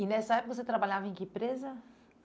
E nessa época você trabalhava em que empresa?